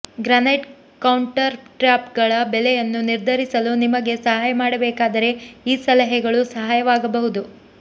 granite ಕೌಂಟರ್ಟ್ಯಾಪ್ಗಳ ಬೆಲೆಯನ್ನು ನಿರ್ಧರಿಸಲು ನಿಮಗೆ ಸಹಾಯ ಮಾಡಬೇಕಾದರೆ ಈ ಸಲಹೆಗಳು ಸಹಾಯವಾಗಬಹುದು